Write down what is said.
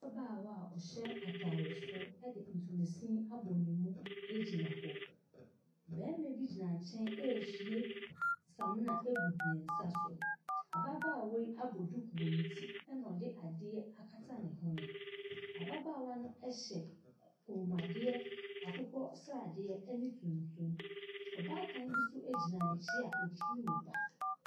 Ababaawa a ɔhyɛ ataade soro de ntoma sini abɔ ne mu gyina hɔ. Barima bi gyina ne nkyɛn rehwie samina gu ne nsa so. Ababaawa yi abɔ duku wɔ ne ti so ɛna ɔde adeɛ akata ne hwene. Ababaawa no hyɛ kɔnmuadeɛ akokɔ sradeɛ ne tuntum. Ↄbaatan bi nso gyina n’akyi a ɔturu ne ba.